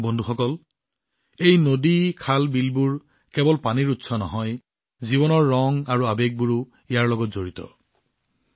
বন্ধুসকল এই নদী খাল বিলবোৰ কেৱল পানীৰ উৎস নহয় জীৱনৰ ৰং আৰু আৱেগো ইয়াৰ লগত জড়িত হৈ আছে